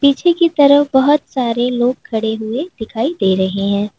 पीछे कि तरफ बहोत सारे लोग खड़े हुए दिखाई दे रहे हैं।